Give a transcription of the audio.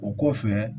O kɔfɛ